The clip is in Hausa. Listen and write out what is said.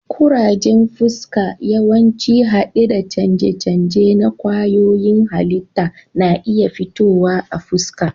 Kurajen fuska, yawanci hade da canje-canje na kwayoyin halitta, na iya fitowa a fuska.